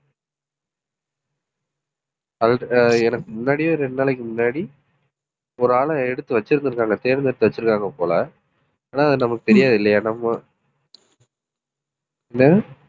அது எனக்கு முன்னாடியே ஒரு ரெண்டு நாளைக்கு முன்னாடி, ஒரு ஆளை எடுத்து வச்சிருந்திருக்காங்க தேர்ந்தெடுத்து வச்சிருக்காங்க போல ஆனா அது நமக்கு தெரியாது இல்லையா நம்ம